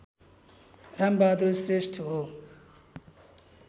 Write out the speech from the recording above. रामबहादुर श्रेष्ठ हो